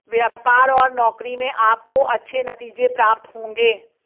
व्यापार और नौकरी में आपको अच्छे नतीजे प्राप्त होंगे